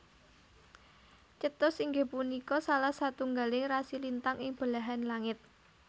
Cetus inggih punika salah satunggaling rasi lintang ing belahan langit